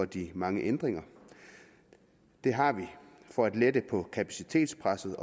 de mange ændringer det har vi for at lette på kapacitetspresset